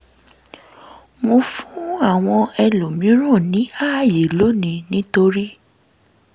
mo fun awọn elomiran ni aaye loni nitori